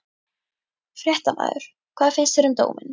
Fréttamaður: Hvað finnst þér um dóminn?